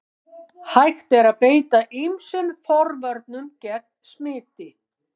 Hægt er að beita ýmsum forvörnum gegn smiti.